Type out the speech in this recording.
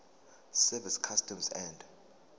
service customs and